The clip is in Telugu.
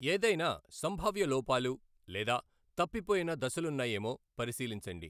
ఏదైనా సంభావ్య లోపాలు లేదా తప్పిపోయిన దశలున్నాయేమో పరిశీలించండి.